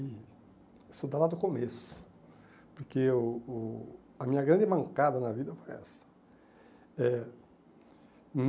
E estudar lá do começo, porque o o a minha grande mancada na vida foi essa. Eh